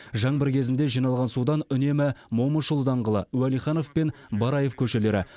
жаңбыр кезінде жиналған судан үнемі момышұлы даңғылы уәлиханов мен бараев көшелері